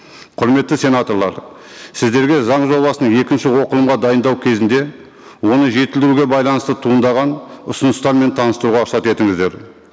құрметті сенаторлар сіздерге заң жобасының екінші оқылымға дайындау кезінде оны жетілдіруге байланысты туындаған ұсыныстармен таныстыруға рұқсат етіңіздер